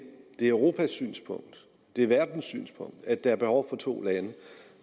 er europas synspunkt det er verdens synspunkt at der er behov for to lande